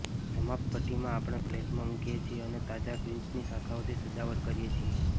સમાપ્ત ભઠ્ઠીમાં આપણે પ્લેટોમાં મૂકીએ છીએ અને તાજા ગ્રીન્સની શાખાઓથી સજાવટ કરીએ છીએ